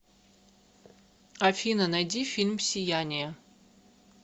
афина найди фильм сияние